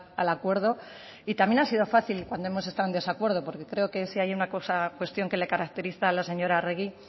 al acuerdo y también ha sido fácil cuando hemos estado en desacuerdo porque creo que si hay una cosa o cuestión que le caracteriza a la señora arregi